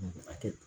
A kɛ